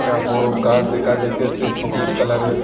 টা বড়ো গাছ দেখা যাইতেসে সবুজ কালারের ।